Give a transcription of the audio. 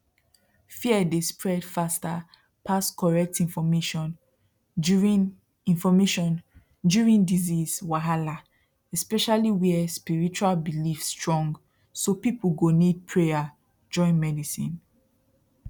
fear dey spread faster pass correct information during information during disease wahala especially where spiritual belief strong so people go need prayer join medicine